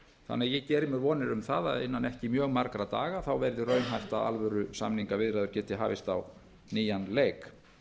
þannig að ég geri mér vonir um það að innan ekki mjög margra daga verði raunhæft að alvöru samingaviðræður geti hafist á nýjan leik